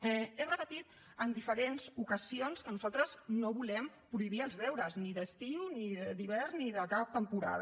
he repetit en diferents ocasions que nosaltres no volem prohibir els deures ni d’estiu ni d’hivern ni de cap temporada